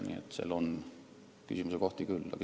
Nii et siin on küsimuse kohti küll.